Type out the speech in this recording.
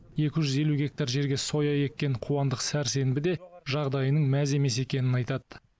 екі жүз елу гектар жерге соя еккен қуандық сәрсенбі де жағдайының мәз емес екенін айтады